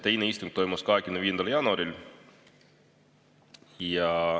Teine istung toimus 25. jaanuaril.